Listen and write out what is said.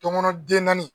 Donkɔnɔ den naani